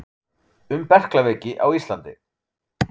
Um berklaveiki á Íslandi.